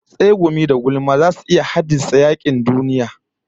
Tsegumi da gulma zasu iya haddasa yakin duniya